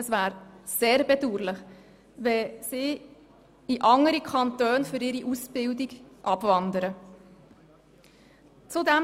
Es wäre sehr bedauerlich, wenn sie für ihre Ausbildung in andere Kantone abwandern würden.